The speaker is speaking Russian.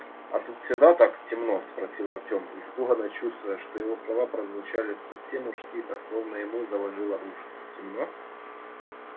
а тут всегда так темно спросил артем испуганно чувствуя что его слова прозвучали совсем уж тихо словно ему заложило уши темно